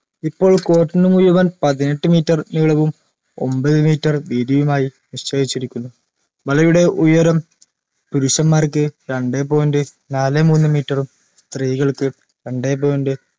ഇപ്പോൾ court നു മുഴുവൻ പതിനെട്ട് meter നീളവും ഒമ്പത് meter വീതിയുമായി നിശ്ചയിച്ചിരിക്കുന്നു വലയുടെ ഉയരം പുരുഷന്മാർക്ക് രണ്ടേ point നാലേ മൂന്ന് meter ഉം സ്ത്രീകൾക്ക് രണ്ടേ point